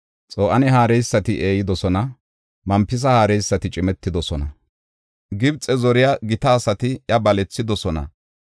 Xo7aane haareysati eeyidosona; Mempisa haareysati cimetidosona. Gibxe zoriya gita asati iya balethidosona.